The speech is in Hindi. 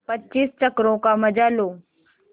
पच्चीस चक्करों का मजा लो